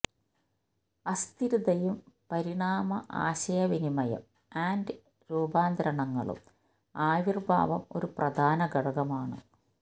അസ്ഥിരതയും പരിണാമ ആശയവിനിമയം ആൻഡ് രൂപാന്തരണങ്ങളും ആവിർഭാവം ഒരു പ്രധാന ഘടകമാണ്